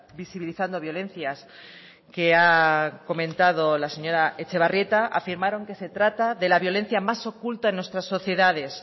visibilizando violencias que ha comentado la señora etxebarrieta afirmaron que se trata de la violencia más oculta en nuestras sociedades